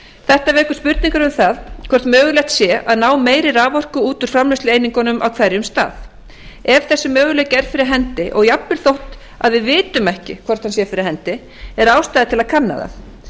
þetta vekur spurningar um það hvort mögulegt sé að ná meiri raforku út úr framleiðslueiningunum á hverjum stað ef þessi möguleiki er fyrir hendi og jafnvel þótt við vitum ekki hvort hann sé fyrir hendi er ástæða til að kanna það